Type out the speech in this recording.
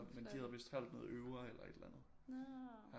Men de havde vidst holdt noget øver eller et eller andet